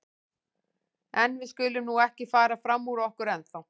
En við skulum nú ekki fara fram úr okkur ennþá.